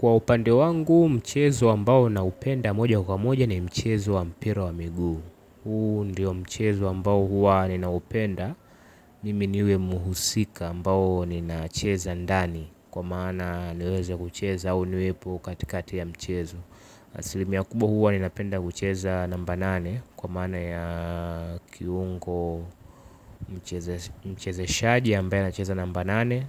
Kwa upande wangu mchezo ambao naupenda moja kwa moja ni mchezo wa mpira wa miguu. Huu ndiyo mchezo ambao huwa nina upenda mimi ni huyo muhusika ambao nina cheza ndani. Kwa maana niweze kucheza au niwepo katikati ya mchezo. Asilimia kubwa huwa nina penda kucheza namba nane. Kwa maana ya kiungo mchezeshaji ambaye anacheza namba nane.